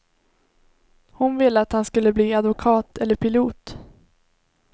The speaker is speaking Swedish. Hon ville att han skulle bli advokat eller pilot.